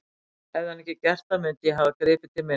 Hefði hann ekki gert það mundi ég hafa gripið til minna ráða.